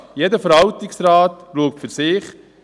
Jeder Verwaltungsrat schaut für sich.